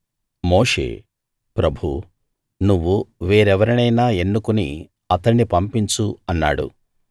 మోషే ప్రభూ నువ్వు వేరెవరినైనా ఎన్నుకుని అతణ్ణి పంపించు అన్నాడు